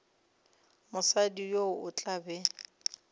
mosadi yo o tla be